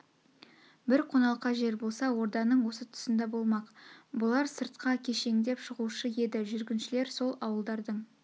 бір қоналқа жер болса орданың осы тұсында болмақ бұлар сыртқа кешеңдеп шығушы еді жүргіншілер сол ауылдардың